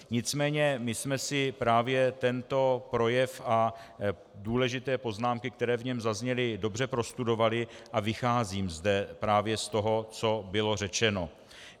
Nicméně my jsme si právě tento projev a důležité poznámky, které v něm zazněly, dobře prostudovali a vycházím zde právě z toho, co bylo řečeno.